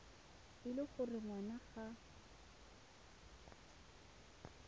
e le gore ngwana ga